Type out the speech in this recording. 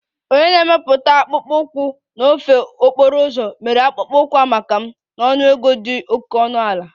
Onye na-emepụta akpụkpọ ụkwụ n'ofe okporo ụzọ mere akpụkpọ ụkwụ a maka m na ọnụego dị oke ọnụ ala